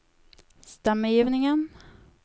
stemmegivningen